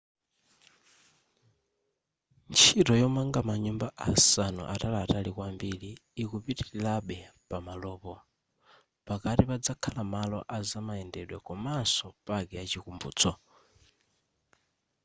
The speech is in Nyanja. ntchito yomanga manyumba asanu ataliatali kwambiri ikupitilirabe pamalopo pakati pazakhala malo azamayendedwe komaso paki ya chikumbutso